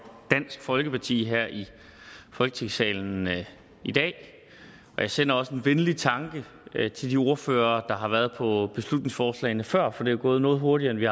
dansk folkeparti her i folketingssalen i dag jeg sender også en venlig tanke til de ordførere der har været på beslutningsforslagene før for det er gået noget hurtigere end vi